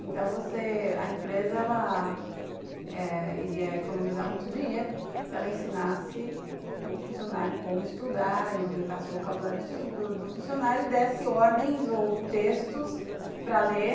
Então você, a empresa ela... iria economizar muito dinheiro se ela ensinasse o funcionário como estudar e aumentasse o vocabulário do do funcionário e desse ordens ou textos para ler.